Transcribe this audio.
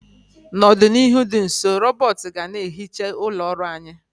N'ọdịnihu dị nso, rọbọt ga na ehicha ụlọ ọrụ anyị.